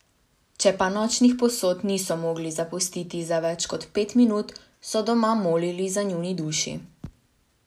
Če pa nočnih posod niso mogli zapustiti za več kot pet minut, so doma molili za njuni duši.